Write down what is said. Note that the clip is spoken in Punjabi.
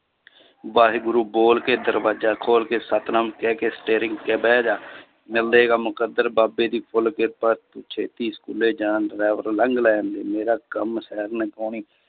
ਵਾਹਿਗੁਰੂ ਬੋਲ ਕੇ ਦਰਵਾਜ਼ਾ ਖੋਲ ਕੇ ਸਤਿਨਾਮ ਕਹਿ ਕੇ steering ਤੇ ਬਹਿ ਜਾ ਮੁਕੱਦਰ ਬਾਬੇ ਦੀ full ਕਿਰਪਾ, ਤੂੰ ਛੇਤੀ ਸਕੂਲੇ ਜਾਣ driver ਲੰਘ ਲੈਣਦੇ ਮੇਰਾ ਕੰਮ